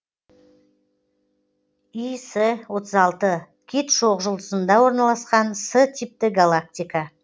іс отыз алты кит шоқжұлдызында орналасқан с типті галактика